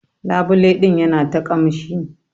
Labule din yana ta kamshi.